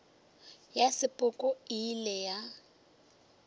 ya sepoko e ile ya